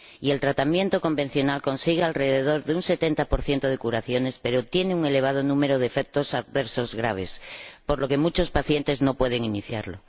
el tratamiento convencional consigue alrededor de un 70 de curaciones, pero tiene un elevado número de efectos adversos graves, por lo que muchos pacientes no pueden iniciarlo.